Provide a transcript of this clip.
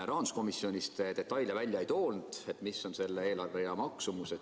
Rahanduskomisjonis te detaile välja ei toonud, ei öelnud, mis on selle eelarverea maksumus.